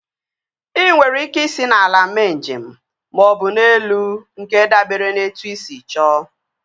Ị nwere ike isi n'ala mee njem maọbụ n'elu nke dabere na etu ị sị chọọ